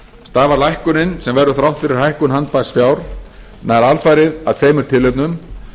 stafar lækkunin sem verður þrátt fyrir hækkun handbærs fjár nær alfarið af tveimur tilefnum